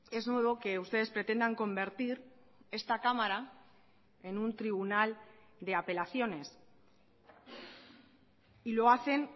es nuevo que ustedes pretendan convertir esta cámara en un tribunal de apelaciones y lo hacen